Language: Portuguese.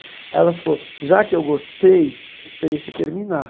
Aí ela falou, já que eu gostei, eu esperei você terminar.